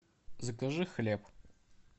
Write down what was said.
закажи хлеб